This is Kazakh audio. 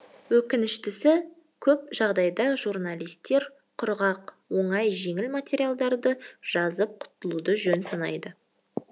өкініштісі көп жағдайда журналистер құрғақ оңай жеңіл материалдарды жазып құтылуды жөн санайды